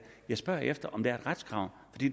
jeg spørger efter om der er et retskrav